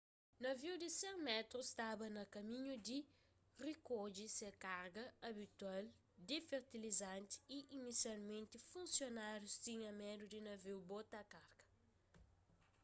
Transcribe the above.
naviu di 100 métrus staba na kaminhu di rikodje se karga abitual di fertilizanti y inisialmenti funsionárius tinha medu di naviu bota karga